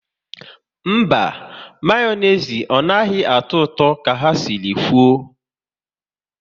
Mba, Mayonezi anaghị atọ ụtọ ka ha si kwụ